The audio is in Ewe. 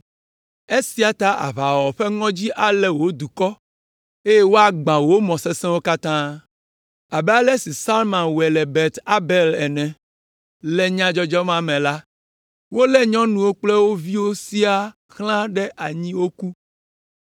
Esia ta aʋawɔwɔ ƒe ŋɔdzi alé wò dukɔ, eye woagbã wò mɔ sesẽwo katã, abe ale si Salman wɔe le Bet Arbel ene; le nyadzɔdzɔ ma me la, wolé nyɔnuwo kple wo viwo siaa xlã ɖe anyi woku.